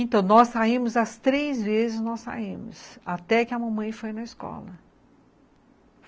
Então, nós saímos, as três vezes nós saímos, até que a mamãe foi na escola.